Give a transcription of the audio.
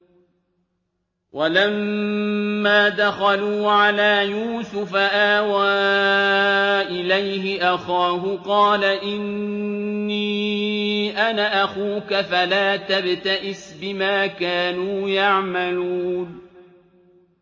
وَلَمَّا دَخَلُوا عَلَىٰ يُوسُفَ آوَىٰ إِلَيْهِ أَخَاهُ ۖ قَالَ إِنِّي أَنَا أَخُوكَ فَلَا تَبْتَئِسْ بِمَا كَانُوا يَعْمَلُونَ